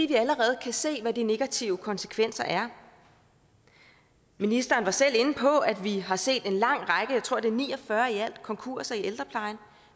kan allerede se hvad de negative konsekvenser er ministeren var selv inde på at vi har set en lang række jeg tror det er ni og fyrre i alt konkurser i ældreplejen